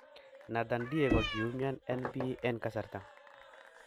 Nathan Dyer kogiumian en pii en kasarta